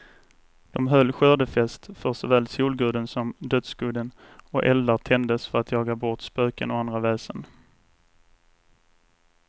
De höll skördefest för såväl solguden som dödsguden, och eldar tändes för att jaga bort spöken och andra väsen.